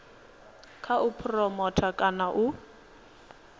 kha u phuromotha kana u